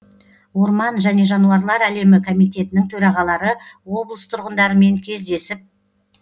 орман және жануарлар әлемі комитетінің төрағалары облыс тұрғындарымен кездесіп